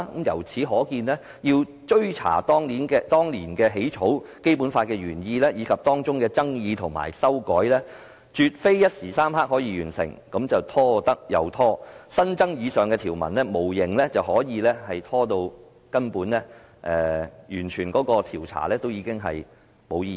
由此可見，翻查當年起草《基本法》的原意，以及當中的爭議及修改，絕非一時三刻可以完成的事，只是拖得便拖，新增以上條文無形中可以把調查拖延，直至調查變得毫無意義。